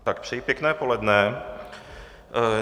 Tak přeji pěkné poledne.